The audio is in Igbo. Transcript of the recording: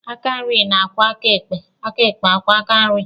Aka nri ga-akwọ aka ekpe, aka ekpe akwọọ aka nri.